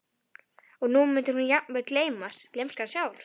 Og nú mundi jafnvel hún gleymast, gleymskan sjálf.